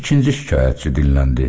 İkinci şikayətçi dilləndi.